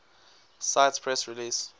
cite press release